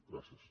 gràcies